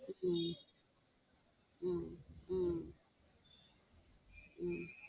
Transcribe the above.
உம் உம் உம் உம்